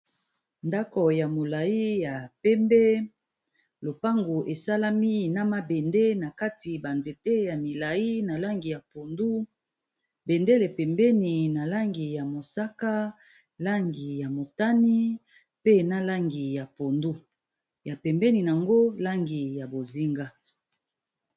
Ndaku ya mulayi ya pembe lopangu esalemi na mabende na kati ba nzete ya molayi ya pangi ya pondu n'a kati mango bendele penbeni ya pangi ya mosaka pangi ya mitanu na langi ya pondu ya pembeni nango lanfi ya bozenga